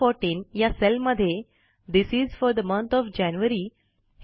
B14 या सेलमध्ये this is fourth month of January